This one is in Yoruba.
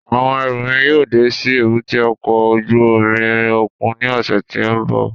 Awọn ẹru mi yóò de si èbúté ọkọ ojú omi okun ni ọsẹ ti n bọ